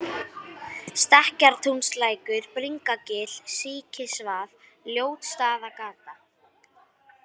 Stekkjartúnslækur, Bringagil, Síkisvað, Ljótsstaðagata